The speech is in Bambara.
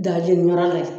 Da jeni yɔrɔ la